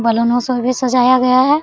बैलूनो से भी सजाया गया है।